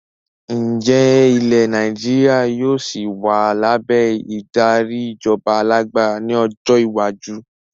Ǹjẹ́ ilẹ̀ Nàìjíríà yìí ó sì wá lábẹ́ ìdarí ìjọba alágbára ni ọjọ́ iwájú?